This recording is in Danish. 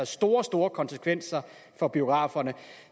store store konsekvenser for biograferne